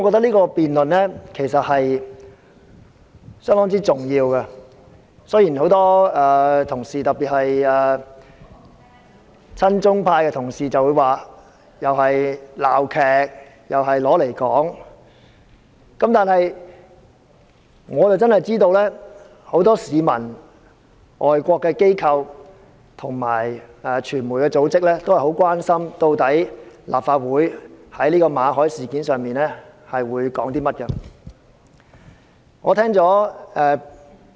這項辯論相當重要，雖然很多同事——特別是親中派同事——或會認為這是一場鬧劇，但我知道很多市民、外國機構及傳媒組織很關心，立法會在馬凱事件上有甚麼意見。